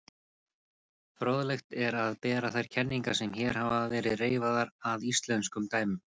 Fróðlegt er að bera þær kenningar sem hér hafa verið reifaðar að íslenskum dæmum.